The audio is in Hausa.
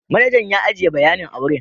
Manajan ya ajiye bayanin a wurin.